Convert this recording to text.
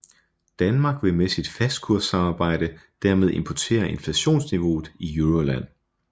Danmark vil med sit fastkurssamarbejde dermed importere inflationsniveauet i Euroland